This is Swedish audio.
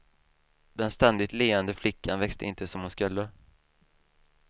Den ständigt leende flickan växte inte som hon skulle.